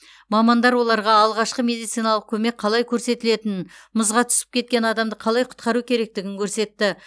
мамандар оларға алғашқы медициналық көмек қалай көрсетілетінін мұзға түсіп кеткен адамды қалай құтқару керектігін көрсетті